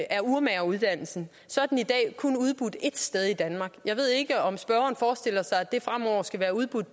af urmageruddannelsen så er den i dag kun udbudt et sted i danmark jeg ved ikke om spørgeren forestiller sig at den fremover skal være udbudt